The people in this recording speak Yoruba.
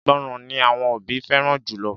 Ìgbọràn ni àwọn òbí fẹ́ràn jùlọ